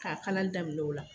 K'a kalali damin'o la